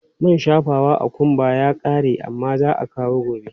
Man shafawa a ƙumba ya ƙare amma za a kawo gobe.